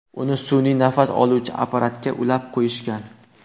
Uni sun’iy nafas oldiruvchi apparatga ulab qo‘yishgan.